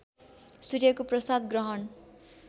सूर्यको प्रसाद ग्रहण